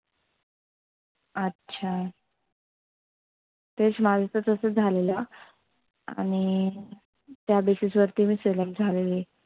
अच्छा तेच माझं तर तसच झालेलं आणि त्या basis वरती मी select झालेली.